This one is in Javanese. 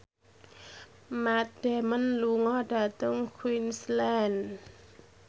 Matt Damon lunga dhateng Queensland